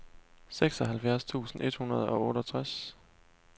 seksoghalvfjerds tusind et hundrede og otteogtres